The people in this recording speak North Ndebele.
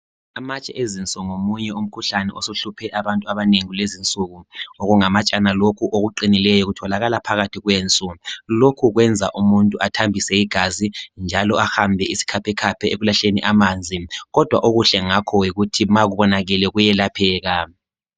Amatshe ezinso ngomunye umkhuhlane osuhluphe abantu abanengi kulezinsuku. Okungamatshana lokhu okuqinileyo kutholakala phakathi kwenso. Lokhu kwenza umuntu athambise igazi njalo ahambe isikhaphekhaphe ekulahleni amanzi kodwa okuhle ngakho yikuthi ma kubonakele kuyelapheka.